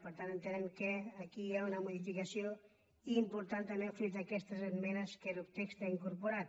per tant entenem que aquí hi ha una modificació important també fruit d’aquestes esmenes que el text ha incorporat